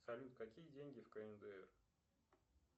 салют какие деньги в кндр